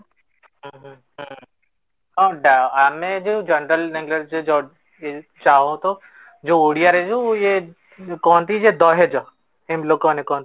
ଉହୁଁ ହୁଁ ହଁ ଆମେ ଯୋଉ general language ରେ ଯଦି ଯେ ଓଡ଼ିଆ ରେ ଯୋଉ ଇଏ କହନ୍ତି ଯେ ଦହେଜ ଏମିତି ଲୋକ ମାନେ କହନ୍ତି